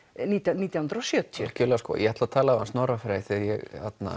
nítján nítján hundruð og sjötíu algerlega sko ég ætla að tala við hann Snorra Frey þegar ég